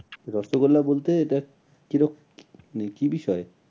রসগোল্লা বলতে এটা কিরক, মানে কি বিষয়ে?